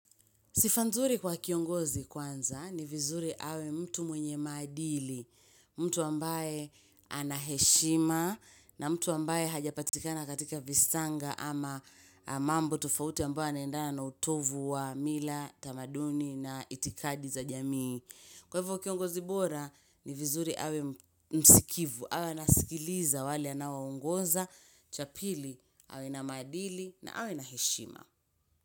Sifa nzuri kwa kiongozi kwanza ni vizuri awe mtu mwenye maadili, mtu ambaye ana heshima na mtu ambaye hajapatikana katika visanga ama mambo tofauti ambayo yanaendana na utovu wa mila, tamaduni na itikadi za jamii. Kwa hivyo kiongozi bora ni vizuri awe msikivu, awe anasikiliza wale anaongoza, cha pili awe na maadili na awe na heshima.